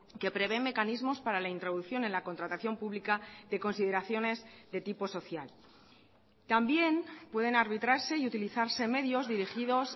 que prevé mecanismos para la introducción en la contratación pública de consideraciones de tipo social también pueden arbitrarse y utilizarse medios dirigidos